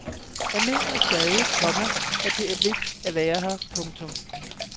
Jeg mener stadig, komma at det er vigtigt at være her. punktum